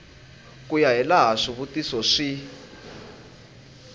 ku ya hilaha swivutiso swi